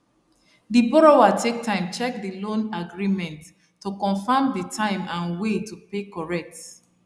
the borrower take time check the loan agreement to confirm the time and way to pay correct